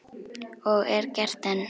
Og er gert enn.